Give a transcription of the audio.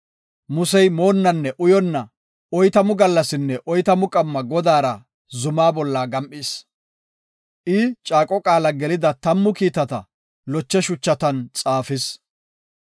Musey moonnanne uyonna, oytamu gallasinne oytamu qamma Godaara zuma bolla gam7is. I, caaqo qaala gelida tammu kiitata loche shuchatan xaafis.